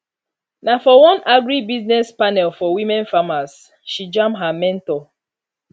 na for one agribusiness panel for women farmers she jam her mentor